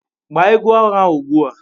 Gbaa egwu agha ugbu a!